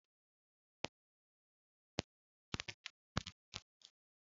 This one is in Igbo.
Ị maara na Miang kham bụ nri Thai?